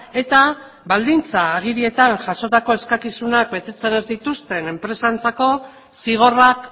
eta baldintza agirietan jasotako eskakizunak betetzen ez dituzten enpresentzako zigorrak